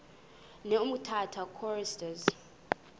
ne umtata choristers